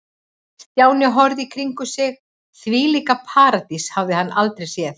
Stjáni horfði í kringum sig og þvílíka paradís hafði hann aldrei séð.